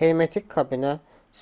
hermetik kabinə